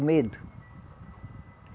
O medo.